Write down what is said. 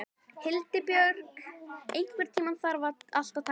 Hildibjörg, einhvern tímann þarf allt að taka enda.